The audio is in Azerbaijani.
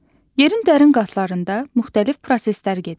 Yerin dərin qatlarında müxtəlif proseslər gedir.